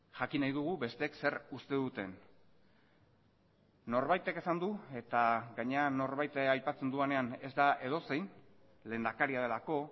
jakin nahi dugu besteek zer uste duten norbaitek esan du eta gainera norbait aipatzen dudanean ez da edozein lehendakaria delako